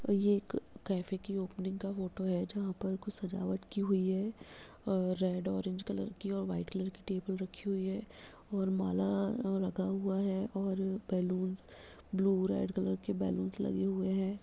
और ये एक कैफै की ओपनिंग का फोटो है जहाँ पर कुछ सजवाट की हुई है और रेड ऑरेंज कलर की और व्हाइट कलर की टेबल रखी हुई है और माला लगा हुआ है और बैलून्स ब्लू रेड कलर के बैलून्स लगे हुए हैं।